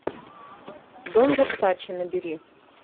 дом версаче набери